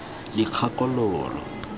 dikgakologo